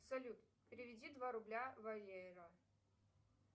салют переведи два рубля валера